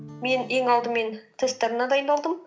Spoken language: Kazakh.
мен ең алдымен тесттеріне дайындалдым